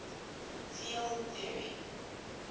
field theory